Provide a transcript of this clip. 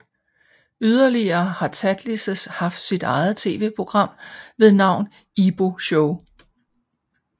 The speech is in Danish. Yderligere har Tatlises haft sit eget TV program ved navn Ibo Show